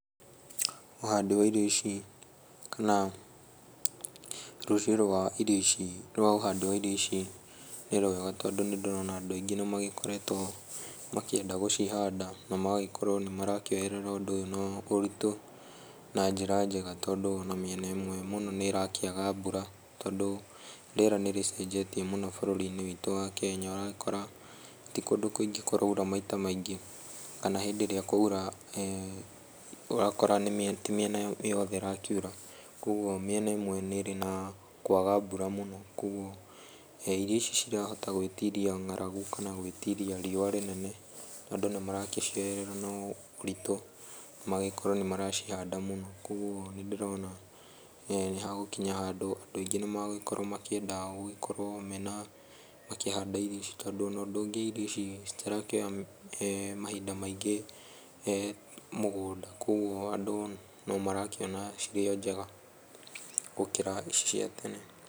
Ũhandi wa irio ici, kana rũcio rwa irio ici, rwa ũhandi wa irio ici nĩrwega, tondũ nĩndĩrona andũ aingĩ nĩmagĩkoretwo makĩenda gũcihanda na magagĩkorwo nĩmarakĩoerera ũndũ ũyũ na ũritũ na njĩra njega, tondũ ona mĩena ĩmwe mũno nĩrakĩaga mbura, tondũ rĩera nĩrĩcenjetie mũno bũrũrinĩ wa Kenya. Na ũgakora ti kũndũ kũingĩ kũraura maita maingĩ kana hĩndĩ ĩrĩa kwaura ũgakora ti mĩena yothe ĩrakinya, koguo mĩena ĩmwe nĩrĩ na kwaga mbura mũno koguo irio icio citirahota gwĩtiria ng'aragu kana gwĩtiria riũa inene, andũ nĩmaragĩcioerera na ũritũ magakorwo nĩmaragĩcihanda mũno, koguo ndĩrona nĩ hagũkinya handũ andũ aingĩ nĩmagũkorwo makĩhanda irio ici, tondũ ũndũ ũngĩ irio ici citirakĩoya mahinda maingĩ mũgũnda, koguo andũ no marakĩona cirĩ njega gũkĩra ici cia tene.